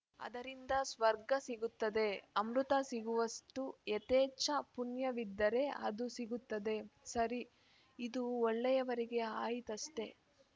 ಅದರಿಂದ ಸ್ವರ್ಗ ಸಿಗುತ್ತದೆ ಅಮೃತ ಸಿಗುವಷ್ಟುಯಥೇಚ್ಛ ಪುಣ್ಯವಿದ್ದರೆ ಅದೂ ಸಿಗುತ್ತದೆ ಸರಿ ಇದು ಒಳ್ಳೆಯವರಿಗೆ ಆಯಿತಷ್ಟೇ